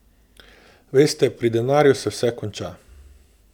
Veste, pri denarju se vse konča.